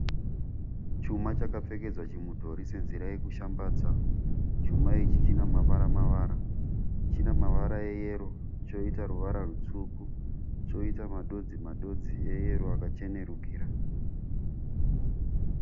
Chuma chakpfekedzwa chimudhori senzira yekushambadza. Chuma ichi chine mavara mavara. Chinemavara eyero, choita ruvara rwutsvuku, choita madodzi madodzi eyero akachenerukira.